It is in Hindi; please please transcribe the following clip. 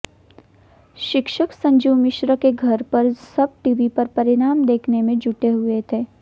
शिक्षक संजीव मिश्र के घर पर सब टीवी पर परिणाम देखने में जुटे हुए थे